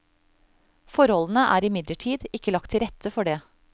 Forholdene er imidlertid ikke lagt til rette for det.